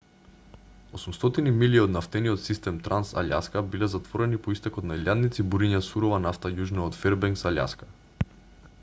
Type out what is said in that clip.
800 милји од нафтениот систем транс-алјаска биле затворени по истекот на илјадници буриња сурова нафта јужно од фербенкс алјаска